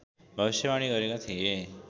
भविष्यवाणी गरेका थिए